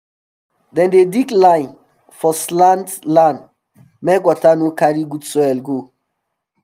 dem dey dig line for slant land make water no carry good soil go